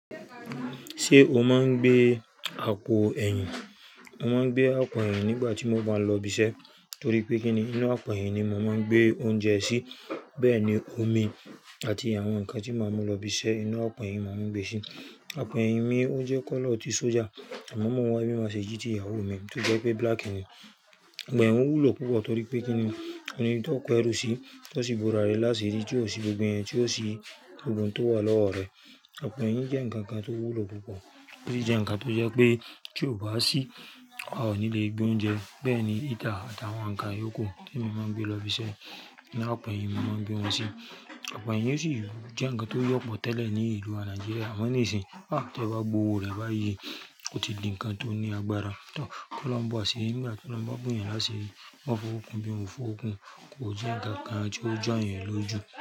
Ṣé o máa ń gbé àpò ẹ̀yìn? Mo máa ń gbé àpò ẹ̀yìn nígbà tí mo bá lọ ibi iṣẹ́ torí pé kíni inú àpò ẹ̀yìn ni mo máa ń gbé oúnjẹ sí, bẹ́ẹ̀ ni omi àti àwọn nǹkan tí màá máa lọ ibi iṣẹ́ inú àpò ẹ̀yìn màá ń gbé sí. Àpò ẹ̀yìn mi ó jẹ́ kọ́lọ̀ ti sójà, àmọ́ mo wọ̀ ẹ́ bí màá ṣe jí i tí ìyàwó mi tó jẹ́ pé black ni. Ìgbà ẹ́ òun wú lò púpọ̀ torí pé kíni òní tó pẹ́ rù sí, tó sì búra rẹ̀ lásìírí tí ó sì gbogbo ẹ̀yìn tí ó sì gbogbo ohun tó wà lọ́wọ́ rẹ̀. Àpò ẹ̀yìn jẹ́ ǹkan kan tó wú lò púpọ̀ torí jẹ́ ǹkan tó jẹ́ pé kí o bá sí, a ò ní lè gbé oúnjẹ. Bẹ́ẹ̀ ni heater àtàwọn ǹkan yòókù tí mo máa ń gbé lọ ibi iṣẹ́, inú àpò ẹ̀yìn mo máa ń gbé wọn sí. Àpò ẹ̀yìn yóò sì jẹ́ ǹkan tó yọ̀ pọ̀ tẹ́lẹ̀ ní ìlú Nàìjíríà, àmọ́ níìsín, bá tí ẹ bá gbówo rẹ̀ bá ye, ó ti di ǹkan tó ní agbára. Tán, kí wọ́n máa ba ṣe ìmúra, kí wọ́n máa búye lásìí, wọ́n fọwọ́ kun bí wọn kò fọ́ o kun, kò jẹ́ ǹkan kan tí ó jọ́ ẹ́ lójú.